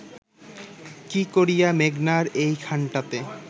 কি করিয়া মেঘনার এইখানটাতে